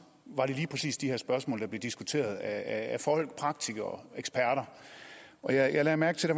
var det lige præcis de her spørgsmål der blev diskuteret af folk praktikere og eksperter og jeg lagde mærke til at